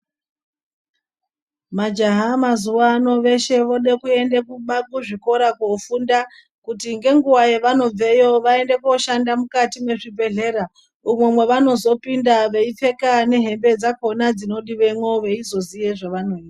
Majaha nendombi veshe voda kuenda kuzvikora kunofunda kuti nenguva yavanobveyo vaende kunoshanda mukati mezvibhedhlera umwo mavanozopinda veipfeka nehembe dzakona dzinodiwemo veizoita zvavanoita.